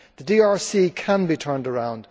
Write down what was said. The DRC can be turned around.